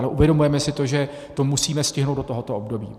Ale uvědomujeme si to, že to musíme stihnout do tohoto období.